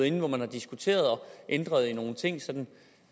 inden hvor man har diskuteret og ændret nogle ting sådan